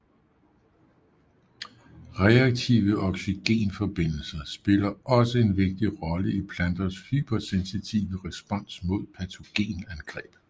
Reaktive oxygenforbindelser spiller også en vigtig rolle i planters hypersensitive respons mod patogenangreb